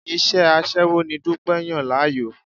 Iṣẹ́ aṣẹ́wó ni Dúpẹ́ yàn láàyò.